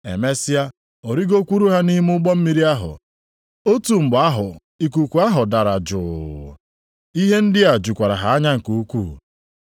Emesịa, ọ rịgokwuru ha nʼime ụgbọ mmiri ahụ, otu mgbe ahụ ikuku ahụ dara juu. Ihe ndị a jukwara ha anya nke ukwuu.